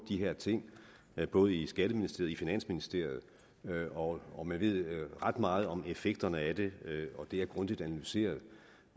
her ting både i skatteministeriet og i finansministeriet og og man ved ret meget om effekterne af det det er grundigt analyseret